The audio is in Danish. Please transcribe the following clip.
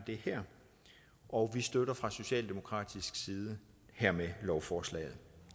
det her og vi støtter fra socialdemokratisk side hermed lovforslaget